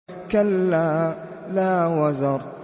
كَلَّا لَا وَزَرَ